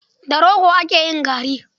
Da rogo ake yin gari.